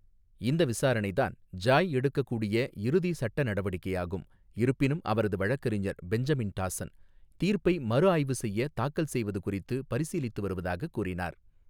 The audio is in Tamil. இந்த விசாரணைதான் ஜாய் எடுக்கக்கூடிய இறுதி சட்ட நடவடிக்கையாகும், இருப்பினும் அவரது வழக்கறிஞர் பெஞ்சமின் டாசன், தீர்ப்பை மறுஆய்வு செய்ய தாக்கல் செய்வது குறித்து பரிசீலித்து வருவதாகக் கூறினார்.